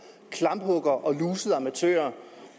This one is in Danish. klamphuggere og lusede amatører